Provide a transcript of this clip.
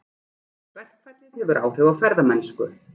Verkfallið hefur áhrif á ferðamennsku